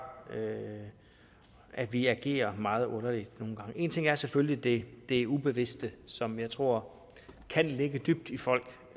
at vi agerer meget underligt nogle gange en ting er selvfølgelig det det ubevidste som jeg tror kan ligge dybt i folk